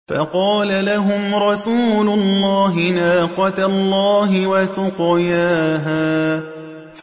فَقَالَ لَهُمْ رَسُولُ اللَّهِ نَاقَةَ اللَّهِ وَسُقْيَاهَا